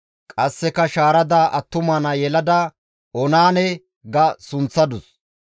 Qasseka shaarada attuma naa yelada Oonaane ga sunththadus.